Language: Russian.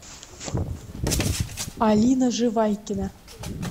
алина живайкина